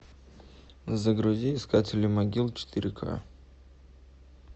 загрузи искатели могил четыре ка